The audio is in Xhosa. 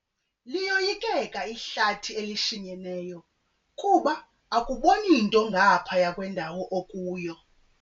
Liyoyikeka ihlathi elishinyeneyo kuba akuboni nto ngaphaya kwendawo okuyo.